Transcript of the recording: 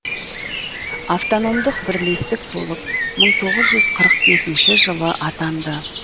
автономдық бірлестік болып мың тоғыз жүз қырық бесінші жылы атанды